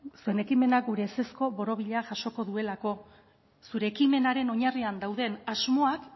ze ekimenak gure ezezko borobila jasoko duelako zure ekimenaren oinarrian dauden asmoak